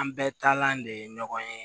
An bɛɛ talan de ye ɲɔgɔn ye